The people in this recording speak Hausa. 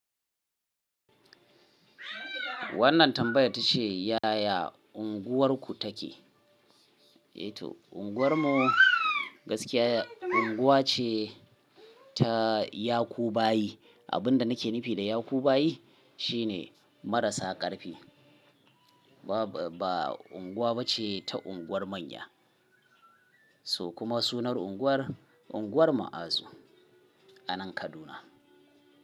Wannan tambayar ta ce, yaya unguwarku take? Unguwar mu gaskiya unguwa ce ta yakubayi. Abin da nake nufi da yakubayi shi ne marasa ƙarfi. Ba unguwa ba ce ta unguwar manya. So kuma sunar unguwar, unguwar Ma'azu anan Kaduna.